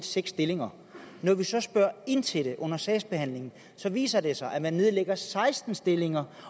seks stillinger når vi så spørger ind til det under sagsbehandlingen viser det sig at man nedlægger seksten stillinger